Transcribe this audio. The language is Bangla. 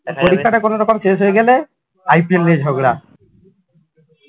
কোনোরকম শেষ হয়ে গেলে IPL নিয়ে ঝগড়া